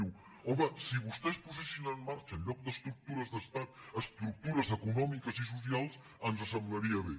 diu home si vostès posessin en marxa en lloc d’es·tructures d’estat estructures econòmiques i socials ens semblaria bé